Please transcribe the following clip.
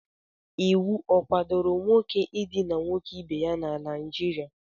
Iwu ọ kwadoro nwoke idina nwoke ibe ya na Naịjirịa?